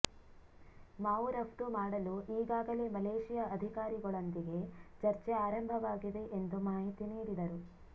ಮಾವು ರಫ್ತು ಮಾಡಲು ಈಗಾಗಲೇ ಮಲೇಷಿಯಾ ಅಧಿಕಾರಿಗಳೊಂದಿಗೆ ಚರ್ಚೆ ಆರಂಭವಾಗಿದೆ ಎಂದು ಮಾಹಿತಿ ನೀಡಿದರು